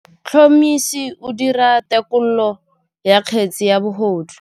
Motlhotlhomisi o dira têkolô ya kgetse ya bogodu.